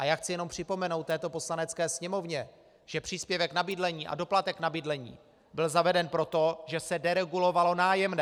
A já chci jenom připomenout této Poslanecké sněmovně, že příspěvek na bydlení a doplatek na bydlení byl zaveden proto, že se deregulovalo nájemné.